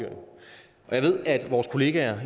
jeg ved at vores kollegaer